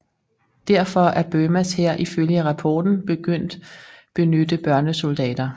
Derfor er Burmas hær ifølge rapporten begyndt benytte børnesoldater